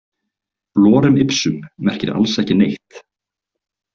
Lorem ipsum merkir alls ekki neitt.